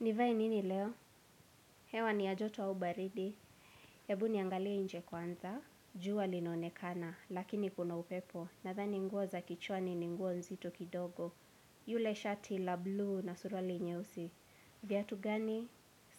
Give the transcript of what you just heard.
Nivae nini leo? Hewa ni ya joto au baridi. Ebu niangalie nje kwanza. Jua linaonekana, lakini kuna upepo. Nadhani nguo za kichwani ni nguo nzito kidogo. Yule shati la bluu na suruali nyeusi. Vyatu gani?